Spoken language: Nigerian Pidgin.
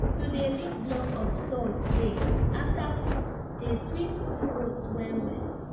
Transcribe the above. to dey lick block of salt dey after food dey sweet the goats well well